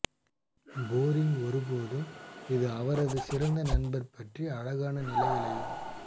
boring ஒருபோதும் இது அவரது சிறந்த நண்பர் பற்றி அழகான நிலைகளையும்